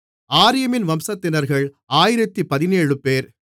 ஆரீமின் வம்சத்தினர்கள் 1017 பேர்